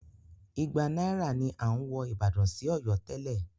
Igba náírà ni à ń wọ ìbàdàn sí Ọ̀yọ́ tẹ́lẹ̀.